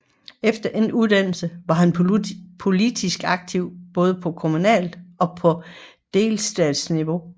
Efter endt uddannelse var han politisk aktiv både på kommunalt og på delstatsniveau